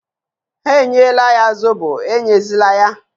Ha enyela ya Zobo, enyezila ya!